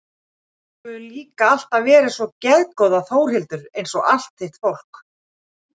Þú hefur líka alltaf verið svo geðgóð Þórhildur einsog allt þitt fólk.